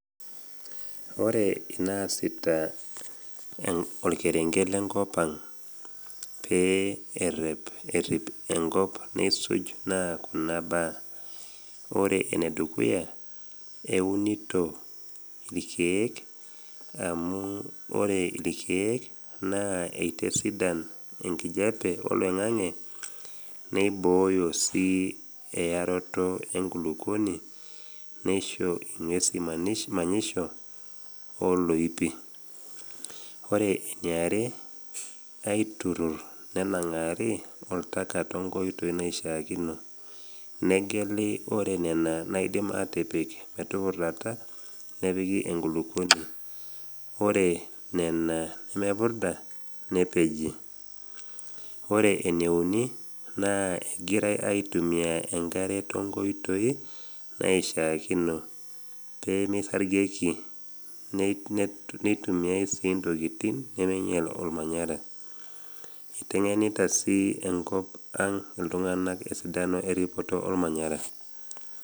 Kore naasita olkerenke le nkop ang pee erep enkop neisuj naa kuna baa; ore enedukuya, eunito ilkeek, amu ore ilkeek naa eitesidan enkijape oloing’ang’e neibooyo sii eyaroto e nkulukuoni, neisho ing’uesi manisho o iloipi. Ore eniare, aiturrur nenang’ari oltaka tonkoitoi naishaakino, negeli ore nena naidim atipik metupurdata nepiki enkulukuoni ore nena nemepurda nepeji. Ore eneuni naa egirai aitumia engare tenkoitoi naishaakino pe meisargieki, netumia sii intokitin nemeinyal olmanyara. Eiteng’enita sii enkop ang iltung’ana esidano eripoto olmanyara.